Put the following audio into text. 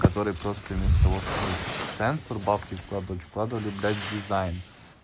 который просто вместо того чтобы в сенсор бабки вкладывать вкладывали блять в дизайн